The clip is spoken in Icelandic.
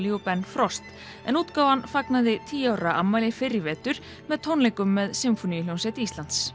Ben frost en útgáfan fagnaði tíu ára afmæli með tónleikum með Sinfóníuhljómsveit Íslands